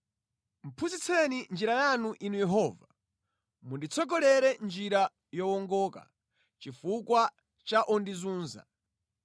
Phunzitseni njira yanu Inu Yehova, munditsogolere mʼnjira yowongoka chifukwa cha ondizunza.